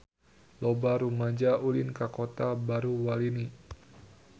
Loba rumaja ulin ka Kota Baru Walini